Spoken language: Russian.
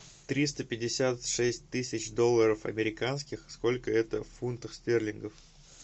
триста пятьдесят шесть тысяч долларов американских сколько это в фунтах стерлингов